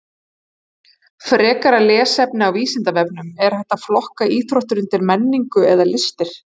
Frekara lesefni á Vísindavefnum: Er hægt að flokka íþróttir undir menningu eða listir?